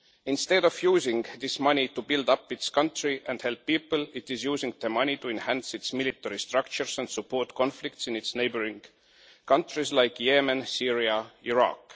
Instead of using this money to build up its country and help people, it is using the money to enhance its military structures and support conflicts in its neighbouring countries like Yemen, Syria and Iraq.